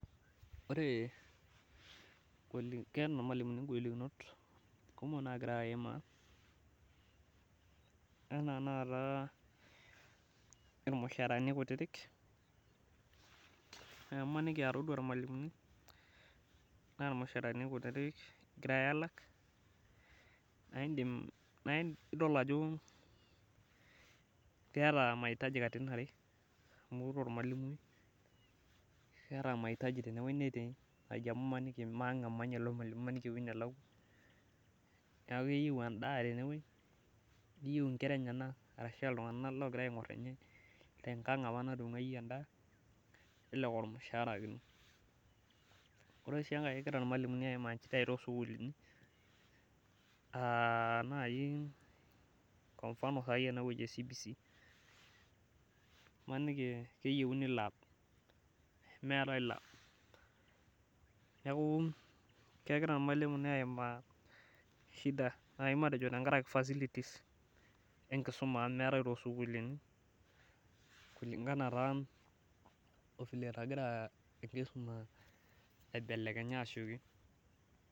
Ore, keeta irmalimuni ingolikinot kumok naagira aimaa enaa naata irmushaarani kutiti, naa imaniki todua irmalimuni naa irmushaarani kutiti egirae aalak naaindim, naidol ajo keeta mahitaji katitin are amu ore ormalimui keeta mahitaji tene netii naaji amu maniki maang' etii emanya ilo malimui maniki aa ewuei nelakwa. Neeku eyieu endaa tenewuei neyieu inkera enyenak ashu iltung'anak loogira aing'urr ninye tenkang opa natung'wayie endaa nelelek aa ormushaara ake inoot. Ore oshi enkae kegira irmalimuni aimaa inchidai toosukuulini aa naai kwa mfano saai enewueji e CBC. Maniki keyieuni lab nemeetae lab. Neeku kegira irmalimuni aimaa shida naai matejo tenkaraki facilities enkisuma amu meetae toosukuulini kulingana taa o vile nagira aibelekenya asioki